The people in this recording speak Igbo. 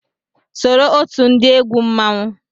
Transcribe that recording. Soro otu ndị egwu mmanwụ